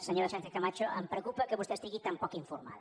senyora sánchezcamacho em preocupa que vostè estigui tan poc informada